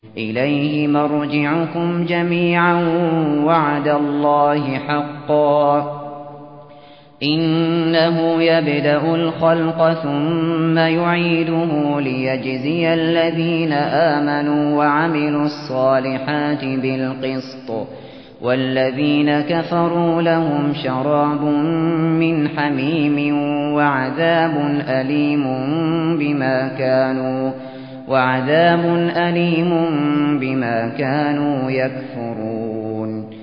إِلَيْهِ مَرْجِعُكُمْ جَمِيعًا ۖ وَعْدَ اللَّهِ حَقًّا ۚ إِنَّهُ يَبْدَأُ الْخَلْقَ ثُمَّ يُعِيدُهُ لِيَجْزِيَ الَّذِينَ آمَنُوا وَعَمِلُوا الصَّالِحَاتِ بِالْقِسْطِ ۚ وَالَّذِينَ كَفَرُوا لَهُمْ شَرَابٌ مِّنْ حَمِيمٍ وَعَذَابٌ أَلِيمٌ بِمَا كَانُوا يَكْفُرُونَ